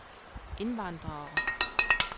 indvandrere